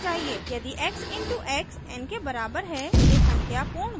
यदि x इन to x n के बराबर है तो संख्या पूर्ण वर्ग है